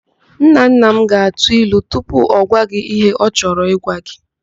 Nnanna m ga-atụ ilu tupu ọ gwa gị ihe ọ chorọ ịgwa gị.